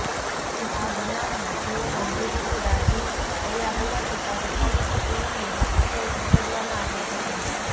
આ બનાવમાં તેઓ ગંભીર રીતે દાઝી ગયા હોવાથી તાત્કાલિક તેઓને હોસ્પિટલ ખસેડવામાં આવ્યા હતા